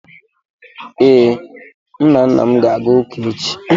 Ee, M na nna m ga-aga ụka echi